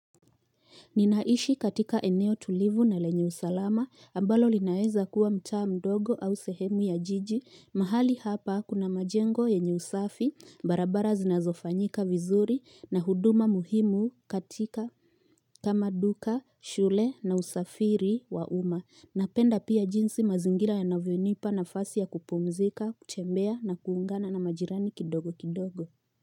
Ninaishi katika eneo tulivu na lenye usalama, ambalo linaeza kuwa mcha mdogo au sehemu ya jiji, mahali hapa kuna majengo ya usafi, barabara zinazofanyika vizuri na huduma muhimu katika kamaduka, shule na usafiri wa uma. Napenda pia jinsi mazingira ya navionipa na fasi ya kupumzika, kutembea na kuungana na majirani kidogo kidogo.